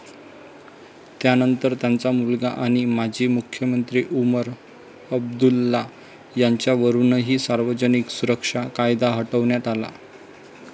त्यानंतर त्यांचा मुलगा आणि माजी मुख्यमंत्री उमर अब्दुल्ला यांच्यावरूनही सार्वजनिक सुरक्षा कायदा हटवण्यात आला.